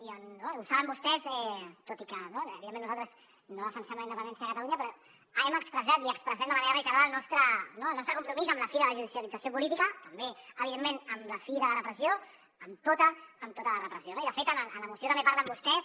i ho saben vostès tot i que evidentment nosaltres no defensem la independència de catalunya però hem expressat i expressem de manera reiterada el nostre compromís amb la fi de la judicialització política també evidentment amb la fi de la repressió amb tota amb tota la repressió no i de fet en la moció també parlen vostès